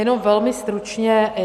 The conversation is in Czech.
Jenom velmi stručně.